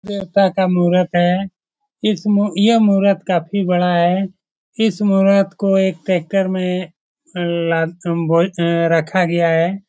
देवता का मूरत है। इस मू यह मूरत काफी बड़ा है। इस मूरत को एक ट्रेक्टर में ला भ उम् रखा गया है।